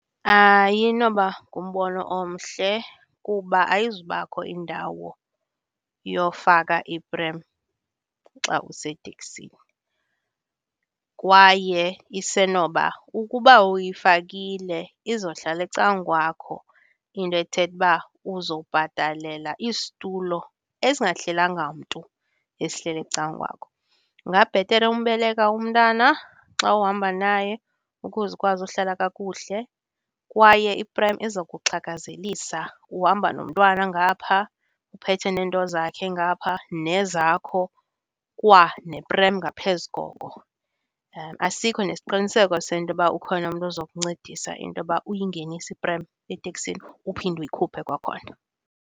Ayinoba ngumbono omhle kuba ayizubakho indawo yofaka iprem xa useteksini, kwaye isenoba ukuba uyifakile izohlala ecwakwakho into ethetha uba uzobhatalela isitulo esingahlelanga mntu esihleli ecakwakho. Kungabhetere umbeleka umntana xa uhamba naye ukuze ukwazi uhlala kakuhle. Kwaye iprem izokuxhakazelisa, uhamba nomntwana ngapha, uphethe neento zakhe ngapha nezakho, kwaneprem ngaphezu koko. Asikho nesiqiniseko sentoba ukhona umntu ozokuncedisa intoba uyingenise iprem eteksini uphinde uyikhuphe kwakhona.